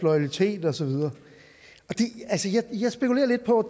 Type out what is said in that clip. loyalitet og så videre jeg spekulerer lidt på